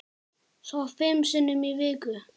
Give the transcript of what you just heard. Svo fimm sinnum í viku.